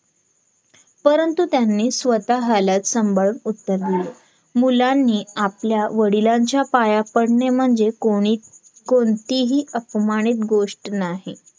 परंतु त्यांनी स्वतःला संभाळून उत्तर दिले मुलांनी आपल्या वडिलांच्या पाया पडणे म्हणजे कोणी कोणतीही अपमानित गोष्ट नाही